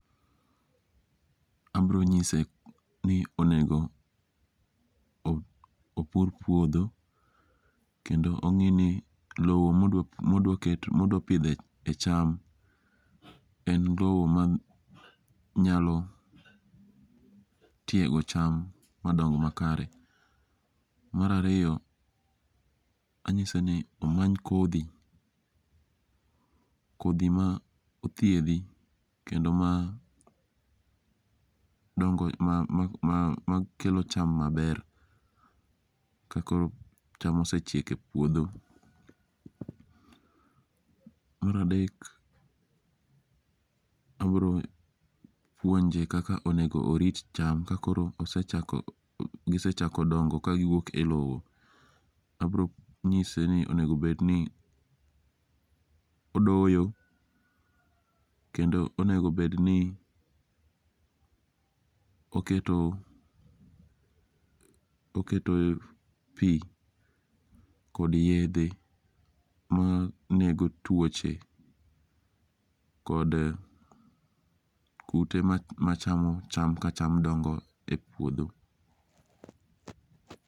Abiro nyise ni onego opur puodho kendo ong'i ni lowo ma odwa pidhe cham en lowo manyalo tiego cham madong makare. Mar ariyo, anyise ni omany kodhi kodhi ma thiedhi kendo ma dongo ma ma makelo cham maber kakoro cham osechiek puodho. Mar adek abiro puonje kaka onego orit cham kakoro gisechako dongo kagiwuok e lowo. Abiro nyise ni onego bedni odoyo kendo onego bedni oketo oketo pi kod yedhe ma nego tuoche kod kute machamo cham kacham dongo e puodho